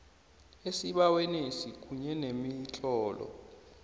esibawenesi kunye nemitlolo